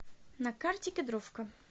на карте кедровка